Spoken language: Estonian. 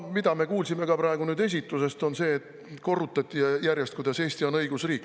Me kuulsime ka praegu esitlusest, kuidas järjest korrutati, et Eesti on õigusriik.